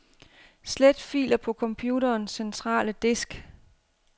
Slet filer på computerens centrale disk.